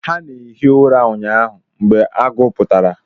Ha na-ehi ura ụnyahụ mgbe agụ pụtara